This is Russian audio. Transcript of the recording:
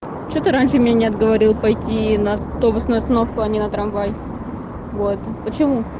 что ты раньше меня отговорил пойти на автобусную остановку а не на трамвай вот почему